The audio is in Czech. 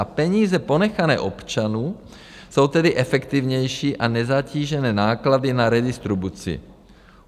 A peníze ponechané občanům jsou tedy efektivnější a nezatížené náklady na redistribuci.